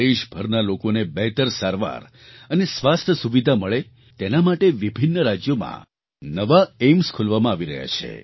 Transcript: દેશભરના લોકોને બહેતર સારવાર અને સ્વાસ્થ્ય સુવિધા મળે તેના માટે વિભિન્ન રાજ્યોમાં નવાં એઇમ્સ એઇમ્સખોલવામાં આવી રહ્યાં છે